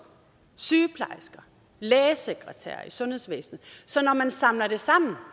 sygeplejersker lægesekretærer i sundhedsvæsenet så når man samler det sammen